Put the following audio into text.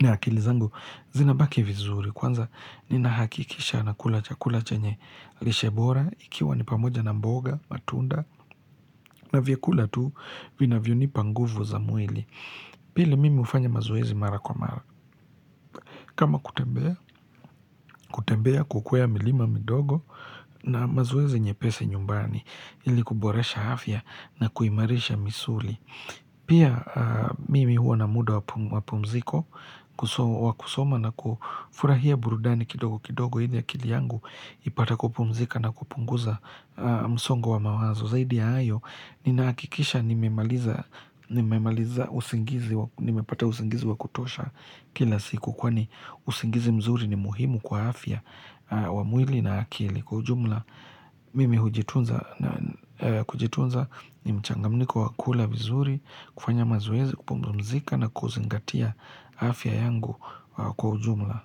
na akili zangu zinabaki vizuri. Kwanza ninahakikisha nakula chakula chenye lishe bora ikiwa ni pamoja na mboga, matunda na vyakula tu vinavyonipa nguvu za mwili. Pili mimi hufanya mazoezi mara kwa mara. Kama kutembea, kutembea kukwea milima midogo na mazoezi nyepesi nyumbani ili kuboresha afya na kuimarisha misuli. Pia mimi huwa na muda wa mapumziko wa kusoma na kufurahia burudani kidogo kidogo ili akili yangu ipate kupumzika na kupunguza msongo wa mawazo zaidi ya hayo Ninahakikisha nimepata usingizi wa kutosha kila siku kwani usingizi mzuri ni muhimu kwa afya wa mwili na akili Kwa ujumla, mimi kujitunza ni mchangamniko wa kula vizuri, kufanya mazoezi, kupumzika na kuzingatia afya yangu kwa ujumla.